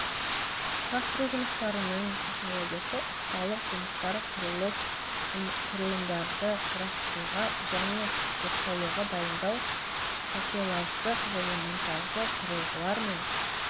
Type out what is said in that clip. құрастыру жұмыстарының технологиясы ұсталық жұмыстар құрылыс құрылымдарды құрастыруға және оқшаулауға дайындау такелаждық және монтаждық құрылғылар мен